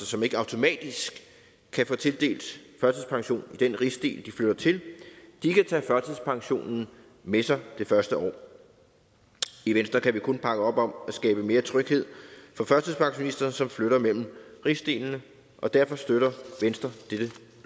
som ikke automatisk kan få tildelt førtidspension i den rigsdel de flytter til kan tage førtidspensionen med sig det første år i venstre kan vi kun bakke op om at skabe mere tryghed for førtidspensionister som flytter mellem rigsdelene og derfor støtter venstre dette